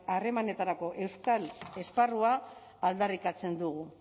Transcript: harremanetarako euskal esparrua aldarrikatzen dugu